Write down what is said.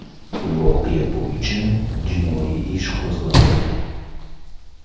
Voqea bo‘yicha jinoiy ish qo‘zg‘atildi.